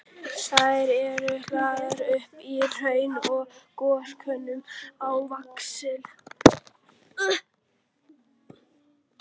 Þær eru hlaðnar upp úr hraun- og gjóskulögum á víxl.